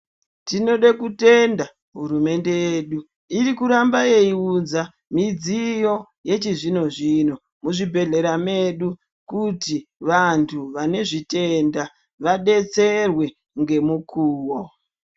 Tinode kutenda hurumende yedu iri kuramba yei unza midziyo yechi zvino mu zvibhedhlera medu kuti vantu vane zvitenda vadetserwe nge mukuwo.